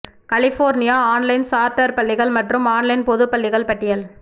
California online charter பள்ளிகள் மற்றும் online பொது பள்ளிகள் பட்டியல்